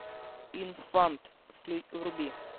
инфант вруби